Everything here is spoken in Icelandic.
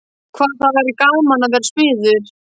Hvað það væri gaman að vera smiður.